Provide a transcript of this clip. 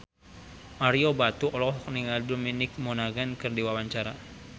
Ario Batu olohok ningali Dominic Monaghan keur diwawancara